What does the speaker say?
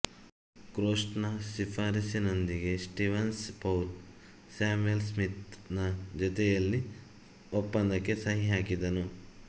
ಕ್ರೋಸ್ಟ್ ನ ಶಿಫಾರಸ್ಸಿನೊಂದಿಗೆ Stevens Paul Samuel Smith ನ ಜೊತೆಯಲ್ಲಿ ಒಪ್ಪಂದಕ್ಕೆ ಸಹಿಹಾಕಿದನು